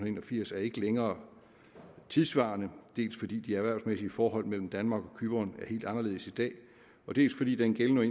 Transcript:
en og firs er ikke længere tidssvarende dels fordi de erhvervsmæssige forhold mellem danmark og cypern er helt anderledes i dag dels fordi den gældende